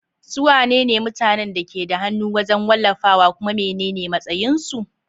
Su wane ne mutanen da ke da hannu wajen wallafawa, kuma menene matsayinsu?